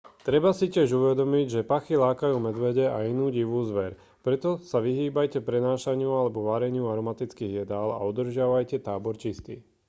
treba si tiež uvedomiť že pachy lákajú medvede a inú divú zver preto sa vyhýbajte prenášaniu alebo vareniu aromatických jedál a udržiavajte tábor čistý